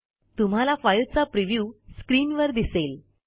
तुम्हाला फाईलचा प्रिव्ह्यू स्क्रीनवर दिसेल